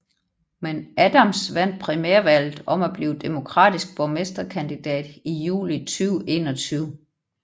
Men Adams vandt primærvalget om at blive demokratisk borgmesterkandidat i juli 2021